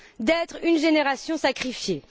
d'être une génération sacrifiée.